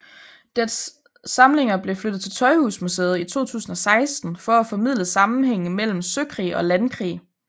Dets samlinger blev flyttet til Tøjhusmuseet i 2016 for at formidle sammenhængen mellem søkrig og landkrig